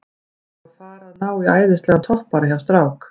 Við erum að fara að ná í æðislegan toppara hjá strák